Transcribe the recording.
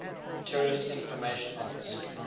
tourist information office